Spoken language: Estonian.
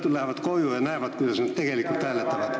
Nad lähevad ju õhtul koju ja näevad, kuidas nad hääletavad.